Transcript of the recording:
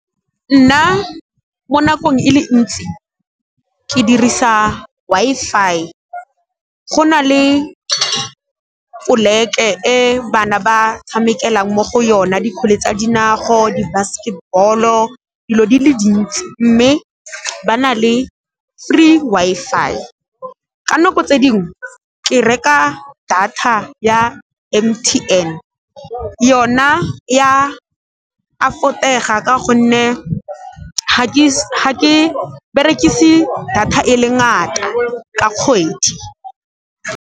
Nna mo nakong e le ntsi ke dirisa Wi-Fi. Go na le poleke e bana ba tshamekelang mo go yona dikgole tsa dinao, di-basketball-o dilo di le dintsi, mme ba na le free Wi-Fi. Ka nako tse dingwe ke reka data ya M_T_N yona ya afford-ega ka gonne ga ke berekise data e le ngata ka kgwedi.